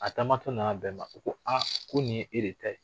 A taamatɔ nana bɛn a ma u ko aa ko nin ye e de ta ye